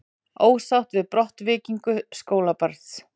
Ósátt við brottvikningu skólabarns